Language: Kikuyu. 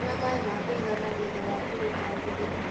Nyua maĩ ma kũigana thutha wa kũrũta thithino